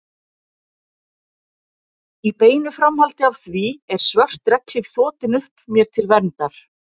Í beinu framhaldi af því er svört regnhlíf þotin upp mér til verndar.